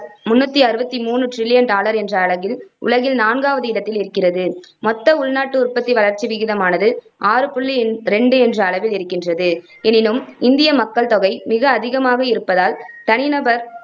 முண்ணூத்தி அறுவத்தி மூணு trillion dollar என்ற அளவில் உலகில் நான்காவது இடத்தில் இருக்கிறது. மொத்த உள்நாட்டு உற்பத்தி வளர்ச்சி விகிதமானது ஆறு புள்ளி ரெண்டு என்ற அளவில் இருக்கின்றது எனினும் இந்திய மக்கள்தொகை மிக அதிகமாக இருப்பதால் தனி நபர்